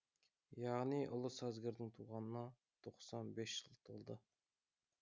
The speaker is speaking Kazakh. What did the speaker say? яғни ұлы сазгердің туғанына тоқсан бес жыл толды